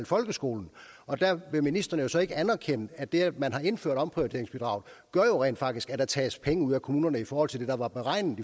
folkeskolen og der vil ministeren ikke anerkende at det at man har indført omprioriteringsbidraget jo rent faktisk gør at der tages penge ud af kommunerne i forhold til det der var beregnet